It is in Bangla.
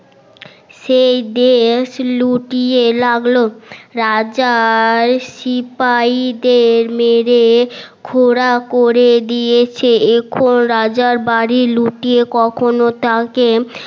সেই দেশ লুটিয়ে লাগলো রাজার সিপাইদের মেরে খোরা করে দিয়েছে এখন রাজার বাড়ি লুটিয়ে কখনো তাকে